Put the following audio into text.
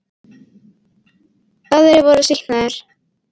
Aðrir voru sýknaðir